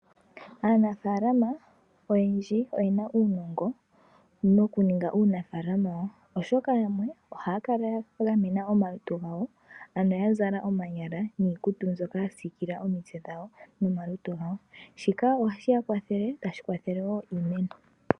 Aanafaalama oyendji oyena uunongo nokuninga uunafaalama wawo , oshoka yamwe ohaya kala yagamena omalutu gawo ano yazala omanyala niikutu mbyoka yasiikila omitse dhawo momalutu gawo. Shika ohashi ya kwathele , tashi kwathele wo iimeno niimeno.